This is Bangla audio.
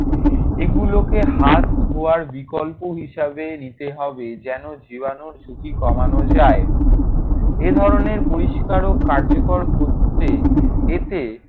এগুলোকে হাত ধোয়ার বিকল্প হিসেবে নিতে হবে। যেন জীবাণুর ঝুঁকি কমানো যায়। এ ধরনের পরিষ্কার ও কার্যকর পদ্ধতিতে এতে